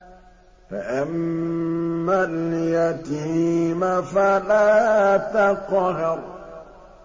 فَأَمَّا الْيَتِيمَ فَلَا تَقْهَرْ